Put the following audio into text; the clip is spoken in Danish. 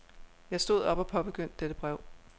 Jeg stod op og påbegyndte dette brev.